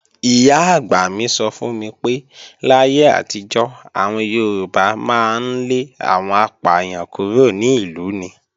Ìyá-àgbà mi sọ fún mi pé, láyé àtijọ́, àwọn Yorùbá máa ń lé àwọn apàyàn kúrò ní ìlú ni.